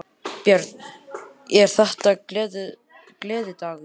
Björn: Er þetta gleðidagur?